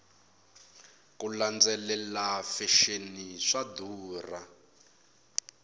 ku landzelela fexeni swa durha